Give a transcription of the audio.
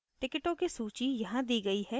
टिकिटों की सूची यहाँ दी गयी है